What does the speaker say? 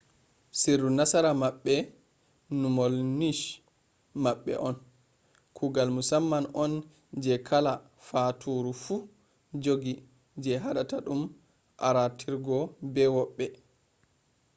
sirru nasara maɓɓe numol nish maɓɓe on kuugol musamman on je kala faaturu fu jogi je haɗata ɗum arootirgo be woɓɓe